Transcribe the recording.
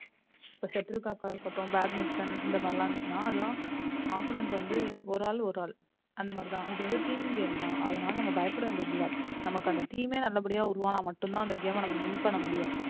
இப்ப shuttle cork கா இருக்கட்டும் batmitton இந்த மாறிலாம் இருத்துச்சுனா அதுலா opponent வந்து ஒரு ஆள் ஒரு ஆள் அந்த மாதிரி தான் இது வந்த team game தான் அதுனால நம்ம பயப்பட வேண்டியது இல்ல நமக்கு அந்த team மே நல்ல படியா உருவான மட்டும் தான் அந்த game ம நம்ம win பண்ண முடியும்.